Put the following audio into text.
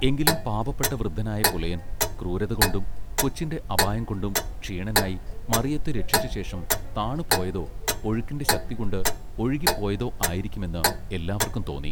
എങ്കിലും പാപപ്പെട്ട വൃദ്ധനായ പുലയൻ ക്രൂരത കൊണ്ടും കൊച്ചിന്റെ അപായംകൊണ്ടും ക്ഷീണനായി മറിയത്തെ രക്ഷിച്ച ശേഷം താണു പോയതൊ ഒഴുക്കിന്റെ ശക്തികൊണ്ട് ഒഴുകിപ്പോയതൊ ആയിരിക്കും എന്ന് എല്ലാവർക്കും തോന്നി.